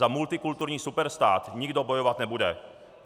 Za multikulturní superstát nikdo bojovat nebude.